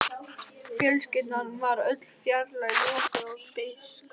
Fjölskyldan var öll fjarlæg, lokuð og beisk.